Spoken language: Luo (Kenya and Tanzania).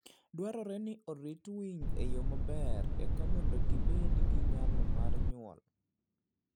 Dwarore ni orit winy e yo maber eka mondo gibed gi nyalo mar nyuol.